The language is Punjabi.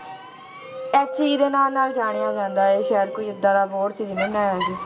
HE ਦੇ ਨਾਂ ਨਾਲ ਜਾਣਿਆ ਜਾਂਦਾ ਹੈ ਸ਼ਾਇਦ ਕੋਈ ਏਦਾਂ ਦਾ board ਸੀ ਜਿਹਨੇ ਬਣਾਇਆ ਸੀ।